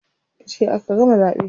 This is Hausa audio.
Jiya aka gama zaɓe.